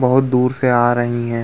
बहोत दूर से आ रही हैं।